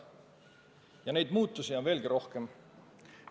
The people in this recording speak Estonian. Ja neid muutusi on veelgi rohkem.